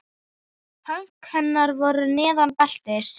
Högg hennar voru neðan beltis.